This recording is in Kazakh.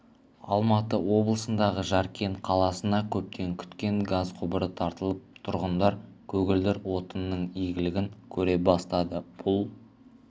алматы облысындағы жаркент қаласына көптен күткен газ құбыры тартылып тұрғындар көгілдір отынның игілігін көре бастады бұл